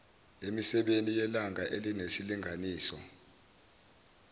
emisebeni yelanga enesilinganiso